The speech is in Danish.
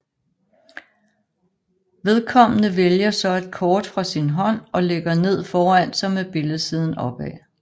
Vedkommende vælger så et kort fra sin hånd og lægger ned foran sig med billedsiden opad